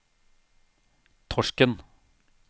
Torsken